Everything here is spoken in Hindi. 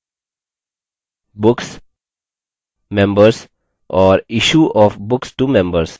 books members और issue of books to members